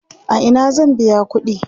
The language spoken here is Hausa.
a Ina zan biya ƙuɗi?